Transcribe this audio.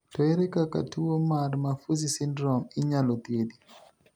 To ere kaka tu mar Maffucci syndrome inyalo thiedhi?